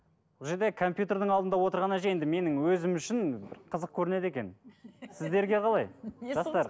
бұл жерде компьютердің алдында отырған әже енді менің өзім үшін бір қызық көрінеді екен сіздерге қалай жастар